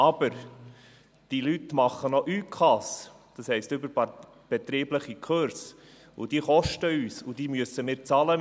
Aber: Diese Leute machen noch ÜK, das heisst überbetriebliche Kurse, und diese verursachen uns Kosten, und wir müssen dafür bezahlen.